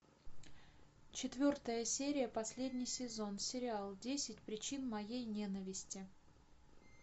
четвертая серия последний сезон сериал десять причин моей ненависти